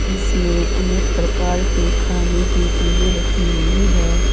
इसमें अनेक प्रकार के खाने की चीजें रखी हुई है।